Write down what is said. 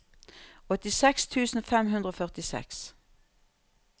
åttiseks tusen fem hundre og førtiseks